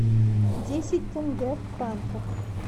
десять тенге в франках